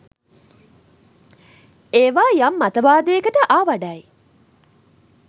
එවා යම් මතවාදයකට ආවඩයි.